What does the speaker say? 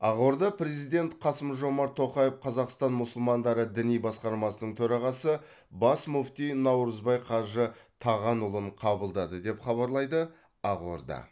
ақорда президент қасым жомарт тоқаев қазақстан мұсылмандары діни басқармасының төрағасы бас мүфти наурызбай қажы тағанұлын қабылдады деп хабарлайды ақорда